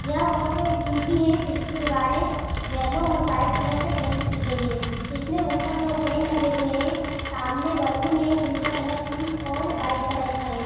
यह फोटो एक जिम की है जिसकी दीवारें येल्लो और व्हाइट कलर से पैंट की गई है जिसमे ऊपर दो फेन लगे हुए है सामने बलून है जिनका कलर पिंक और व्हाइट कलर का है।